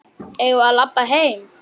Eigum við að labba heim?